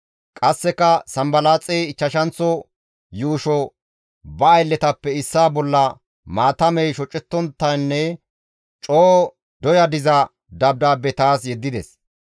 Qasseka Sanbalaaxey ichchashanththo yuusho ba aylletappe issaa bolla maatamey shocettonttanne coo doya diza dabdaabbe taas yeddides.